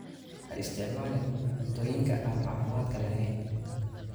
Ha isticmaalin cuntooyinka aan caafimaadka lahayn.